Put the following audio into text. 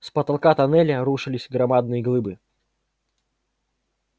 с потолка тоннеля рушились громадные глыбы